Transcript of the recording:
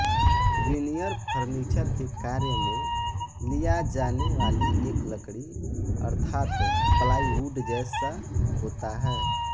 veneer furniture के कार्य में लिया जाने वाली एक लकड़ी अर्थात प्लाइवुड जैसा होता है